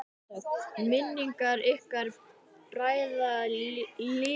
Minning ykkar bræðra lifir alltaf!